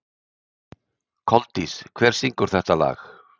Koldís, hver syngur þetta lag?